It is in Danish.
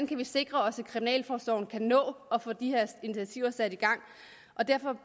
kan sikre at kriminalforsorgen kan nå at få de her initiativer sat i gang derfor